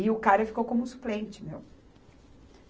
E o cara ficou como suplente, meu.